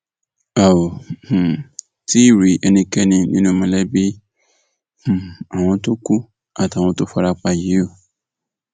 a ò um tí ì rí ẹnikẹni nínú mọlẹbí um àwọn tó kù àti àwọn tó fara pa yìí o